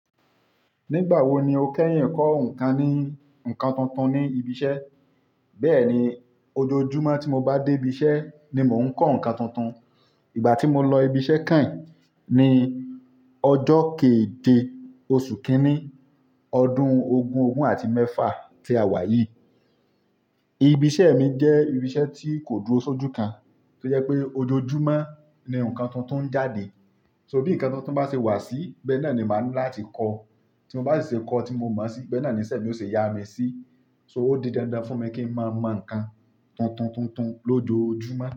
Nígbà wo ni o kẹ́yìn kọ́ nǹkan ní ǹkan tuntun ní ibi iṣẹ́? Bẹ́ẹ̀ni, ojoojúmọ́ tí mo bá dé ibi iṣẹ́ ni mò ń kọ́ ǹkan tuntun-un. Ìgbà tí mo lọ ibi iṣẹ́ kànyin ọjọ́ keeje oṣù kínní ọdún ogún ogún àti mẹ́fà tí a wà yìí. Ibi iṣẹ́ mi jẹ́ ibi iṣẹ́ tí kò dúró sójú kan, tó jẹ pé ojoojúmọ́ ni ǹkan tuntun ń jáde. So bí ǹkan tuntun bá ṣe wà sí, bẹ́ẹ̀ náà ni máa ńi láti kọ́. Tí n bá si ṣe kọ́ tí mo mọ̀o si, bẹ́ẹ̀ náà niṣẹ́ mi ó ṣe yá mi sí. So ó di dandan fún mi kí ń máa mọ ǹkan tuntun tuntun-un lójoojúmọ́